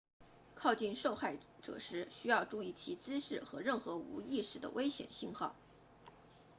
靠近受害者时需要注意其姿势和任何无意识的危险信号